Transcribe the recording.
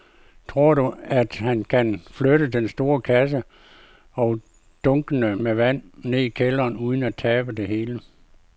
Tror du, at han kan flytte den store kasse og dunkene med vand ned i kælderen uden at tabe det hele?